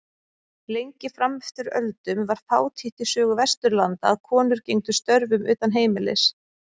Lengi fram eftir öldum var fátítt í sögu Vesturlanda að konur gegndu störfum utan heimilis.